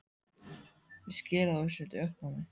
Ég skil að þú sért í uppnámi.